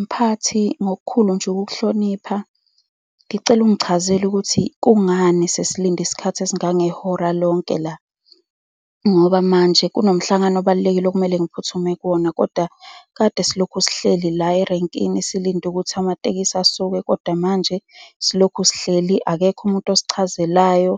Mphathi, ngokukhulu nje ukukuhlonipha, ngicela ungichazele ukuthi kungani sesilinde isikhathi esingangehora lonke la. Ngoba manje kunomhlangano obalulekile okumele ngiphuthume kuwona, kodwa kade silokhu sihleli la erankini, silinde ukuthi amatekisi asuke, kodwa manje silokhu sihleli, akekho umuntu osichazelayo.